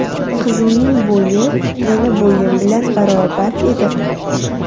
Qizimning bo‘yi meni bo‘yim bilan barobar edi.